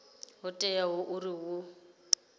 ho teaho uri hu ḓo